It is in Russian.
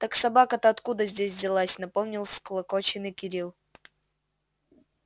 так собака-то откуда здесь взялась напомнил всклокоченный кирилл